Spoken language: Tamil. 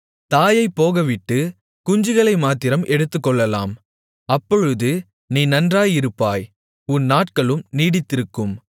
தாயைப் போகவிட்டு குஞ்சுகளை மாத்திரம் எடுத்துக்கொள்ளலாம் அப்பொழுது நீ நன்றாயிருப்பாய் உன் நாட்களும் நீடித்திருக்கும்